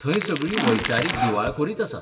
थंय सगळी वैचारीक दिवाळखोरीच आसा.